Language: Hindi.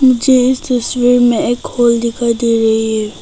मुझे इस तस्वीर में एक हॉल दिखाई दे रही है।